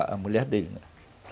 A mulher dele, né?